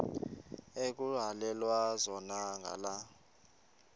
ekuhhalelwana zona ngala